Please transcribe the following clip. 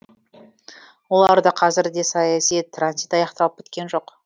оларда қазір де саяси транзит аяқталып біткен жоқ